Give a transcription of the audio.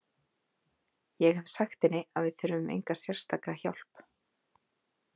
Ég hef sagt henni að við þurfum enga sérstaka hjálp.